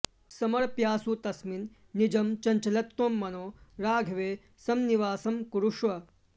समर्प्याशु तस्मिन् निजं चञ्चलत्वं मनो राघवे संनिवासं कुरुष्व